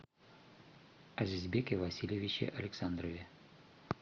азизбеке васильевиче александрове